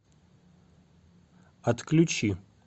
отключи